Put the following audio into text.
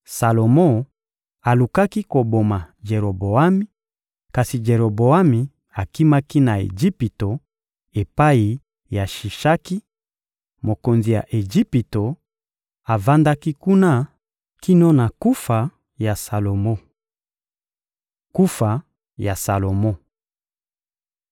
Salomo alukaki koboma Jeroboami, kasi Jeroboami akimaki na Ejipito epai ya Shishaki, mokonzi ya Ejipito, avandaki kuna kino na kufa ya Salomo. Kufa ya Salomo (2Ma 9.29-31)